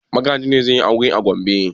Magaji ne zai yi aure a Gombe?